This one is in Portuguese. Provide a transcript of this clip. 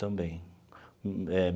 Também eh.